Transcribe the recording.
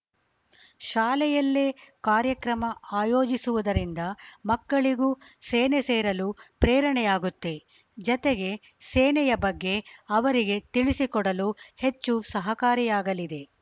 ಶಾಲೆಯಲ್ಲೇ ಕಾರ್ಯಕ್ರಮ ಆಯೋಜಿಸುವುದರಿಂದ ಮಕ್ಕಳಿಗೂ ಸೇನೆ ಸೇರಲು ಪ್ರೇರಣೆಯಾಗುತ್ತೆ ಜತೆಗೆ ಸೇನೆಯ ಬಗ್ಗೆ ಅವರಿಗೆ ತಿಳಿಸಿಕೊಡಲು ಹೆಚ್ಚು ಸಹಕಾರಿಯಾಗಲಿದೆ